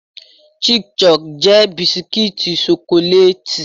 Chic-Choc jẹ́ bisikítì ṣokolátì.